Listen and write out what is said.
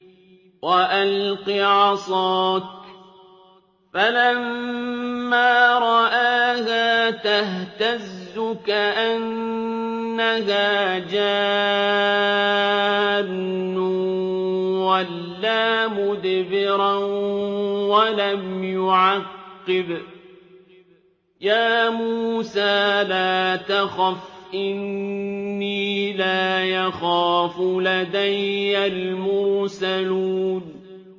وَأَلْقِ عَصَاكَ ۚ فَلَمَّا رَآهَا تَهْتَزُّ كَأَنَّهَا جَانٌّ وَلَّىٰ مُدْبِرًا وَلَمْ يُعَقِّبْ ۚ يَا مُوسَىٰ لَا تَخَفْ إِنِّي لَا يَخَافُ لَدَيَّ الْمُرْسَلُونَ